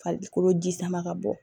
Farikolo ji sama ka bɔ